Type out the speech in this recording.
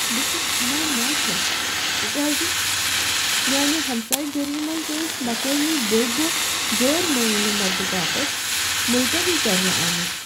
بہٕ چھس ہناہ ناخۄش تکیازِ میانِہ ہمسایہ گٔری منٛز ٲسۍ مقٲمی بٔڈۍ دۄہ غیر معینہ مدتباپت ملتوی کرنہٕ آمتۍ۔